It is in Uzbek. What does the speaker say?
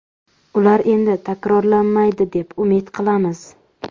Ular endi takrorlanmaydi deb umid qilamiz.